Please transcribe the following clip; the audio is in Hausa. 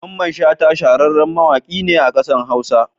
Mamman Shata shahararren mawaƙi ne a kasar Hausa.